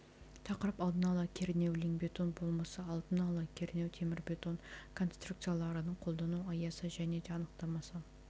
тақырып алдын ала кернеуленген темірбетон болмысы алдын ала кернеу темірбетон конструкцияларының қолдану аясы және де анықтамасы